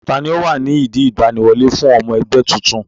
Tani ó wà ní ìdí ìgbaniwọlé fún ọmọ ẹgbẹ́ titun?